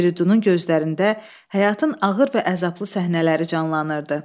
Firidunun gözlərində həyatın ağır və əzablı səhnələri canlanırdı.